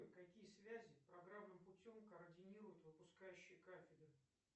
какие связи программным путем координируют выпускающие кафедры